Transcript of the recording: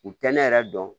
U tɛ ne yɛrɛ dɔn